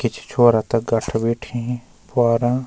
किछि छोरा तख गठ बैठीं पवारा।